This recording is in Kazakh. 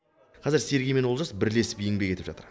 қазір сергей мен олжас бірлесіп еңбек етіп жатыр